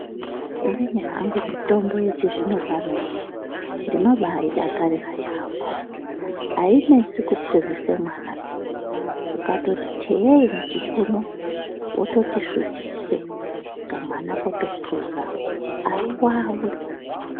Inini hangu mitombo yechizvino pano ino ndinobaidakarira yambo ainesi kupuzisa mwana piya ukatoti teyeyi muchipunu wototi svutise kamwana kotopuza aiwawi.